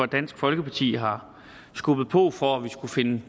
dansk folkeparti har skubbet på for at vi skulle finde